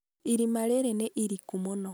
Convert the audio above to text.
irima rĩrĩ nĩ iriku mũno